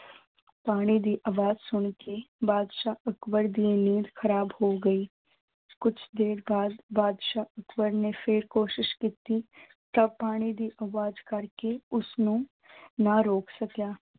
ਪਾਣੀ ਦੀ ਆਵਾਜ਼ ਸੁਣਕੇ ਬਾਦਸ਼ਾਹ ਅਕਬਰ ਦੀ ਨੀਂਦ ਖ਼ਰਾਬ ਹੋ ਗਈ, ਕੁਛ ਦੇਰ ਬਾਅਦ ਅਕਬਰ ਨੇ ਫਿਰ ਕੋਸ਼ਿਸ਼ ਕੀਤੀ ਤਾਂ ਪਾਣੀ ਦੀ ਆਵਾਜ਼ ਕਰਕੇ ਉਸਨੂੂੰ ਨਾ ਰੋਕ ਸਕਿਆ।